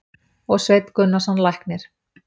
og Sveinn Gunnarsson læknir.